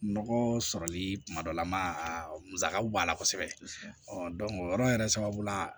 Nɔgɔ sɔrɔli kuma dɔ la ma a musakaw b'a la kosɛbɛ o yɔrɔ yɛrɛ sababu la